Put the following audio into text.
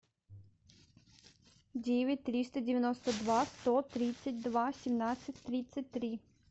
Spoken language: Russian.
девять триста девяносто два сто тридцать два семнадцать тридцать три